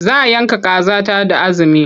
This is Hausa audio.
Za yanka kaza ta da azumi.